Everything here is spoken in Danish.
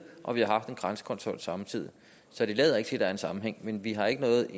og vi har haft en grænsekontrol samtidig så det lader ikke til at der er en sammenhæng men vi har ikke noget